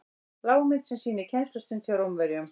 lágmynd sem sýnir kennslustund hjá rómverjum